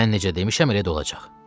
Mən necə demişəm elə də olacaq.